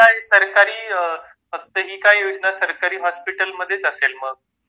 फक्त हि का योजना सरकारी हॉस्पिटल मधेच असेल मग